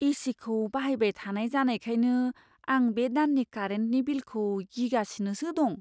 ए.सि.खौ बाहायबाय थानाय जानायखायनो आं बे दाननि कारेन्टनि बिलखौ गिगासिनोसो दं।